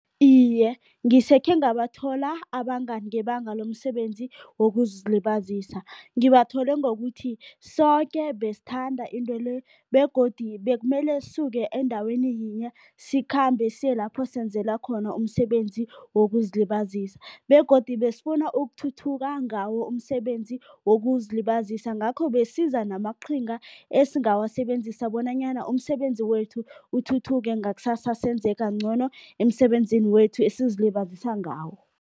Iye, ngisekhe ngabathola abangani ngebanga lomsebenzi wokuzilibazisa. Ngibathole ngokuthi soke besithanda into le begodu bekumele sisuke endaweni yinye, sikhambe siye lapho senzela khona umsebenzi wokuzilibazisa begodu besifuna ukuthuthuka ngawo umsebenzi wokuzilibazisa. Ngakho besiza namaqhinga esingawasebenzisa bonanyana umsebenzi wethu uthuthuke, ngakusasa senze kangcono emsebenzini wethu esizilibazisa ngawo.